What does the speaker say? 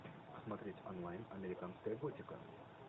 смотреть онлайн американская готика